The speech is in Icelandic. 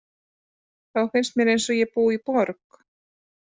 Þá finnst mér eins og ég búi í borg.